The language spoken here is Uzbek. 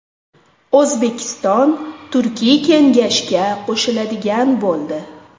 O‘zbekiston Turkiy kengashga qo‘shiladigan bo‘ldi.